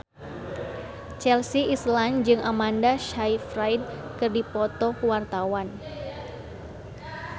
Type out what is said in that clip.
Chelsea Islan jeung Amanda Sayfried keur dipoto ku wartawan